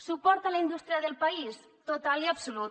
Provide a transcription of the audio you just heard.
suport a la indústria del país total i absolut